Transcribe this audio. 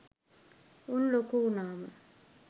උන් ලොකු වුනාම